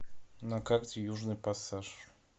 на карте южный пассаж